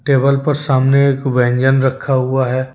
Table पर सामने एक व्यंजन रखा हुआ है।